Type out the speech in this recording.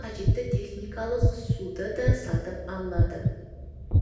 қажетті техникалық суды да сатып алады